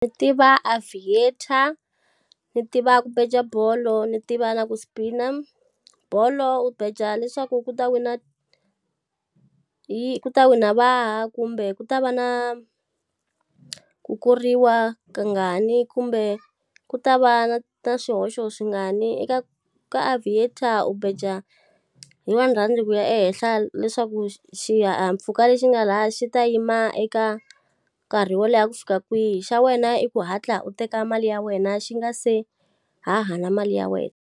Ni tiva aviator, ni tiva ku beja bolo ni tiva na ku spin-a. Bolo u beja leswaku ku ta wina ku ta wina vahi kumbe ku ta va na ku koriwa kangani, kumbe ku ta va na swihoxo swingani. Eka ka aviator u beja hi one rhandi ku ya ehenhla, leswaku xihahampfhuka lexi nga lahaya xi ta yima eka nkarhi wo leha ku fika kwihi. Xa wena i ku hatla u teka mali ya wena xi nga se haha na mali ya wena.